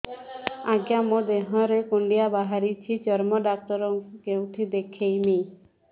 ଆଜ୍ଞା ମୋ ଦେହ ରେ କୁଣ୍ଡିଆ ବାହାରିଛି ଚର୍ମ ଡାକ୍ତର ଙ୍କୁ କେଉଁଠି ଦେଖେଇମି